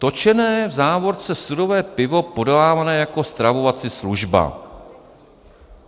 Točené, v závorce sudové pivo podávané jako stravovací služba.